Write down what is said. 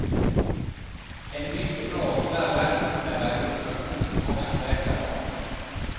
En mycket bra, tyvärr verklighetsnära, illustration till mångas läkarval.